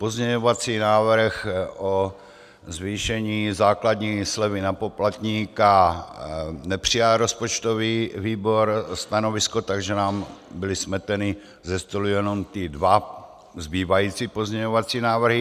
Pozměňovací návrh o zvýšení základní slevy na poplatníka, nepřijal rozpočtový výbor stanovisko, takže nám byly smeteny ze stolu jenom ty dva zbývající pozměňovací návrhy.